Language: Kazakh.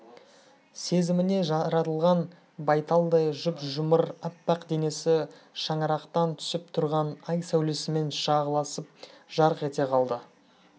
семізіне жаратылған байталдай жұп-жұмыр аппақ денесі шаңырақтан түсіп тұрған ай сәулесімен шағылысып жарқ ете қалды